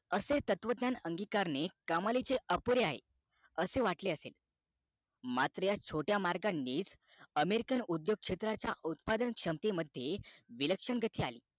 असे तत्वज्ञान अंगी करणे कमानीचे अपुरे आहे असे वाटले असेल मात्र ह्या छोट्या marak नी american उद्योग क्षेत्रांच्या उद्पादन क्षेत्रामध्ये विलक्षण गती अली